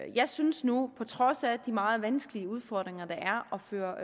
jeg synes nu på trods af de meget vanskelige udfordringer det er at føre